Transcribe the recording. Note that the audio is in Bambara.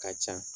Ka ca